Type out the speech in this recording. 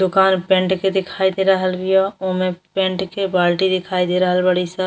दोकान पेंट के दिखाई दे रहल बिया। ओमे पेंट के बाल्टी दिखाई दे रहल बाड़ी स।